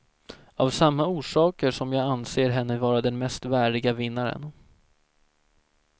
Av samma orsaker som jag anser henne vara den mest värdiga vinnaren.